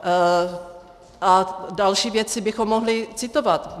A další věci bychom mohli citovat.